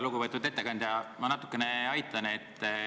Lugupeetud ettekandja, ma natukene aitan.